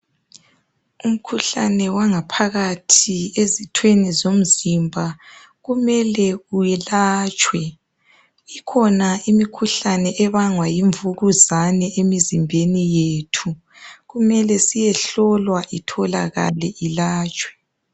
Umkhuhlane wangaphakathi ezithweni zomzimba kumele uyelatshwe. Ikhona imikhuhlane ebangwa yimvukuzane emizimbeni yethu. Kumela siyehlolwa itholakale ilatshwe.